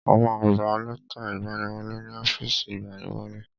A ma gba lẹ́tà ìgbaniwọlé ni ọ́fìsì ìgbaniwọlé.